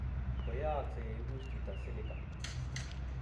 koyaakse ye ipus chhito Silica